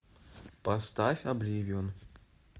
поставь обливион